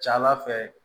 Ca ala fɛ